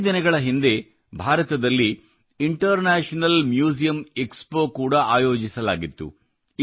ಕೆಲವೇ ದಿನಗಳ ಹಿಂದೆ ಭಾರತದಲ್ಲಿ ಇಂಟರ್ನ್ಯಾಷನಲ್ ಮ್ಯೂಸಿಯಮ್ ಎಕ್ಸ್ಪೊ ಕೂಡಾ ಆಯೋಜಿಸಲಾಗಿತ್ತು